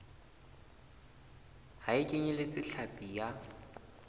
ha e kenyeletse hlapi ya